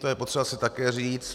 To je potřeba si tak říct.